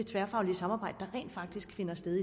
tværfaglige samarbejde der rent faktisk finder sted